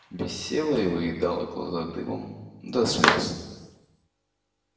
висела и выедала глаза дымом до слёз